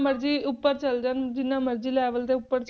ਮਰਜ਼ੀ ਉੱਪਰ ਚੱਲ ਜਾਣਾ, ਜਿੰਨਾ ਮਰਜ਼ੀ level ਦੇ ਉੱਪਰ